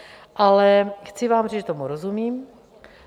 Ale chci vám říct, že tomu rozumím.